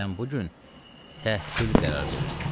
Sən bu gün təhyü qərar verirsən.